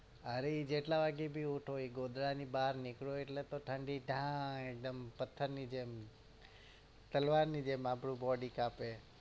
અરે જેટલા વાગે ભી ઉઠો એ ગોદડાની બહાર નીકળો એટલે તો ઠંડી ઢાય એકદમ પથ્થરની જેમ તલવારની જેમ આપડું body કાંપે